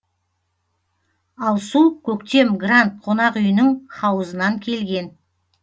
ал су көктем гранд қонақ үйінің хауызынан келген